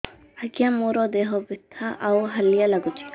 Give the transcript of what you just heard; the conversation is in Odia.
ଆଜ୍ଞା ମୋର ଦେହ ବଥା ଆଉ ହାଲିଆ ଲାଗୁଚି